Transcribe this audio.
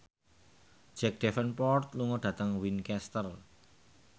Jack Davenport lunga dhateng Winchester